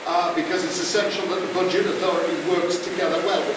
because it's essential that the budget authority works together well.